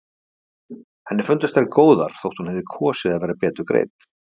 Henni fundust þær góðar þótt hún hefði kosið að vera betur greidd.